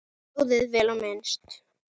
Hjólið, vel á minnst.